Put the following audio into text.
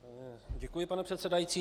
Děkuji, pane předsedající.